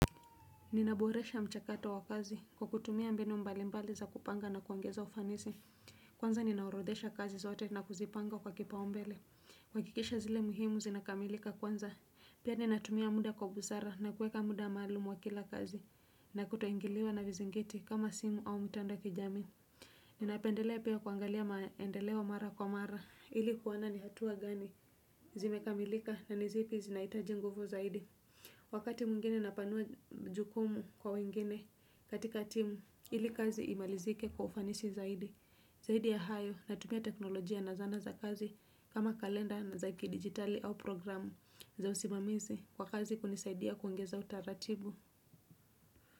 Ninaboresha mchakato wa kazi kwa kutumia mbinu mbali mbali za kupanga na kuongeza ufanisi. Kwanza ninaorodhesha kazi zote na kuzipanga kwa kipaumbele. Wakikisha zile muhimu zinakamilika kwanza. Pia ninatumia muda kwa busara na kueka muda maalumu wa kila kazi. Na kutoingiliwa na vizingiti kama simu au mitanda kijami. Ninapendelea pia kuangalia maendeleo mara kwa mara. Ili kuona ni hatua gani zimekamilika na ni zipi zinaitaji nguvu zaidi. Wakati mungine napanua jukumu kwa wengine katika timu, ili kazi imalizike kwa ufanisi zaidi. Zaidi ya hayo natumia teknolojia na zana za kazi kama kalenda na zaki digitali au programu za usimamizi kwa kazi kunisaidia kuongeza utaratibu.